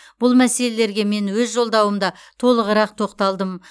бұл мәселелерге мен өз жолдауымда толығырақ тоқталдым